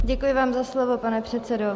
Děkuji vám za slovo, pane předsedo.